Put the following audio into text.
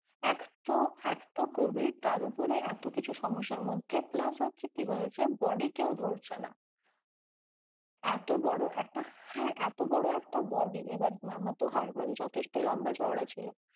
এক তো, এক তো covid তার ওপরে এতো কিছু সমস্যার মধ্যে plus হচ্ছে কি হয়েছে body কেউ ধরছে না এতো বড় একটা, হ্যাঁ এতো বড় একটা body মামা তো মানে যথেষ্ট লম্বা চওড়া ছিল,